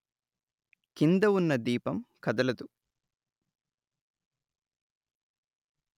కింద వున్న దీపం కదలదు